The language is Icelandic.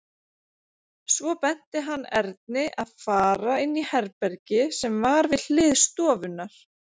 Svo benti hann Erni að fara inn í herbergi sem var við hlið stofunnar.